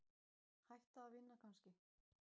Hætta að vinna kannski?